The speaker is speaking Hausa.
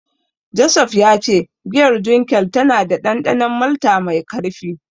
Joseph ya ce giyar Dunkel tana da dandanon malta mai karfi.